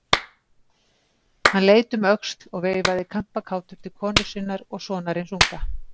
Hann leit um öxl og veifaði kampakátur til konu sinnar og sonarins unga.